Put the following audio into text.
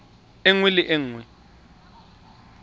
e nngwe le e nngwe